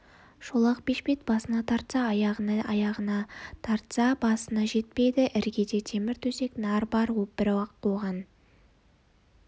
шолақ бешпет басына тартса аяғына аяғына тартса басына жетпейді іргеде темір төсек нар бар бірақ оған